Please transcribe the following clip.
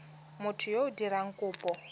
motho yo o dirang kopo